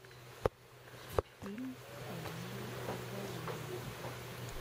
фильм эмиля ардолино